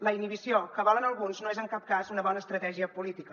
la inhibició que volen alguns no és en cap cas una bona estratègia política